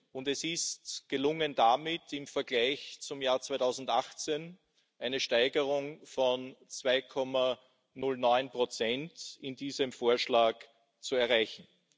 Und es ist gelungen, damit in diesem Vorschlag im Vergleich zum Jahr 2018 eine Steigerung von 2,09 zu erreichen.